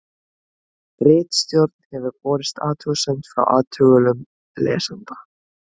Ritstjórn hefur borist athugasemd frá athugulum lesanda.